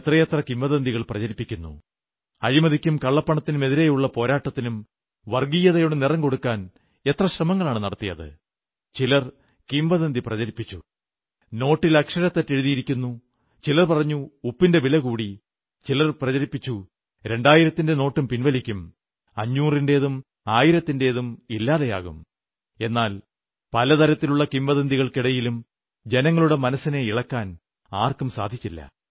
എത്രയെത്ര കിംവദന്തികൾ പ്രചരിപ്പിക്കുന്നു അഴിമതിക്കും കള്ളപ്പണത്തിനുമെതിരെയുള്ള പോരാട്ടത്തിനും വർഗ്ഗീയതയുടെ നിറം കൊടുക്കാൻ എത്ര ശ്രമങ്ങളാണു നടത്തിയത് ചിലർ കിംവദന്തി പ്രചരിപ്പിച്ചു നോട്ടിൽ അക്ഷരത്തെറ്റ് എഴുതിയിരിക്കുന്നു ചിലർ പറഞ്ഞു ഉപ്പിന്റെ വില കൂടി ചിലർ പ്രചരിപ്പിച്ചു 2000 ന്റെ നോട്ടും പിൻവലിക്കും 500 ന്റേതും 100ന്റേതും ഇല്ലാതെയാകും എന്നാൽ പല തരത്തിലുള്ള കിംവദന്തികൾക്കിടയിലും ജനങ്ങളുടെ മനസ്സിനെ ഇളക്കാൻ ആർക്കും സാധിച്ചില്ല